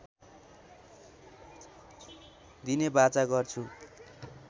दिने वाचा गर्छु